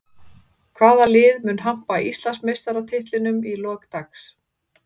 Hvaða lið mun hampa Íslandsmeistaratitlinum í lok dags?